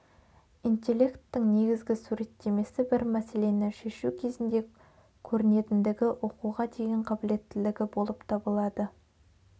интелекттің негізгі суреттемесі бір мәселені шешу кезінде көрінетіндігі оқуға деген қабілеттілігі болып табылады